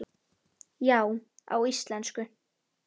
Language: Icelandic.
Já, á íslensku